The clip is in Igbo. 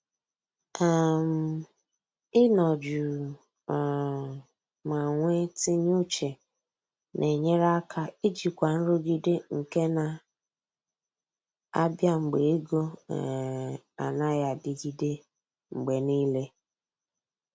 um Ị nọ jụụ um ma nwe tinye uche na enyere aka ijikwa nrụgide nke na abịa mgbe ego um anaghị adịgide mgbe niile